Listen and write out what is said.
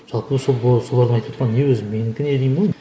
жалпы солардың айтып жатқан не өзі менікі не деймін ғой енді